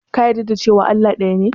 Ka yarda cewa Allah ɗaya ne?